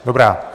Dobrá.